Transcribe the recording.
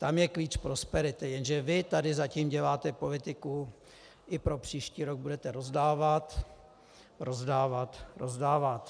Tam je klíč prosperity, jenže vy tady zatím děláte politiku - i pro příští rok budete rozdávat, rozdávat, rozdávat.